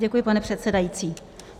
Děkuji, pane předsedající.